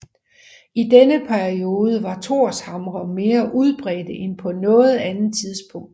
I denne periode var Thorshamre mere udbredte end på noget andet tidspunkt